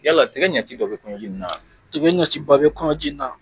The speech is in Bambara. Yala tigɛ ɲɛci bɛ kɔnɔjiina? Tigɛ ɲaciba bɛ kɔnɔjiina.